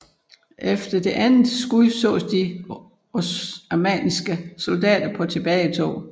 Efter det andet skud sås de oamanniske soldater på tilbagetog